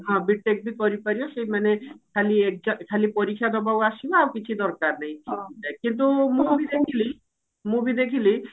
ହଁ B.TECH ବି କରିପାରିବ ସେଇ ମାନେ ଖାଲି exam ଖାଲି ପରୀକ୍ଷା ଦବାକୁ ଆସିବ ଆଉ କିଛି ଦରକାର ନାହିଁ କିନ୍ତୁ ମୁଁ ଜାଣିଥିଲି ମୁଁ ବି ଦେଖିଲି